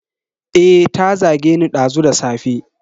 Eh, ta zageni dazu da safe.